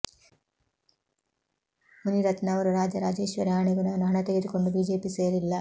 ಮುನಿರತ್ನ ಅವರು ರಾಜರಾಜೇಶ್ವರಿ ಆಣೆಗೂ ನಾನು ಹಣ ತೆಗೆದುಕೊಂಡು ಬಿಜೆಪಿ ಸೇರಿಲ್ಲ